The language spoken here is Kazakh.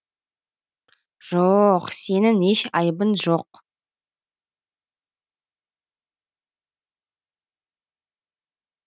жо оқ сенің еш айыбың жоқ